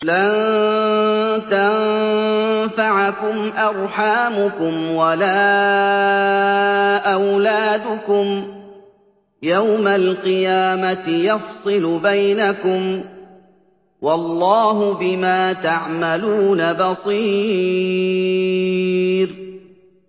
لَن تَنفَعَكُمْ أَرْحَامُكُمْ وَلَا أَوْلَادُكُمْ ۚ يَوْمَ الْقِيَامَةِ يَفْصِلُ بَيْنَكُمْ ۚ وَاللَّهُ بِمَا تَعْمَلُونَ بَصِيرٌ